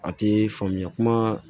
A ti faamuya kuma